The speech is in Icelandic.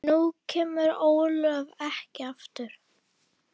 Nú kemur Ólöf ekki aftur.